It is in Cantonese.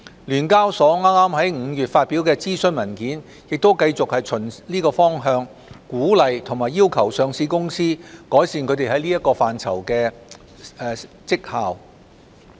聯交所剛在5月發表的諮詢文件亦繼續循此方向鼓勵及要求上市公司改善它們在這範疇的績效。